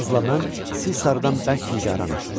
Çarlzla mən siz sarıdan bərk nigaranıq.